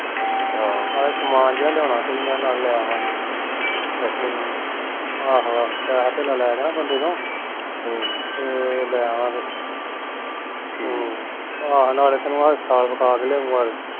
ਨਾਲੇ ਸਮਾਨ ਜਹਾ ਲਿਓਣਾ ਮੈਂ ਕੋਈ ਨਾਲੇ ਲੈ ਆਵਾਂਗੇ ਆਹੋ ਆਹੋ ਪੈਹਾ ਧੇਲਾ ਲੈ ਕੇ ਨਾ ਬੰਦੇ ਤੋ ਹਮ ਤੇ ਲੈ ਆਵਾਂਗੇ ਆਹੋ ਤੇ ਨਾਲੇ ਤੈਨੂ ਹਸਪਤਾਲ ਵਿਖਾ ਕੇ ਲਿਆਊਗਾ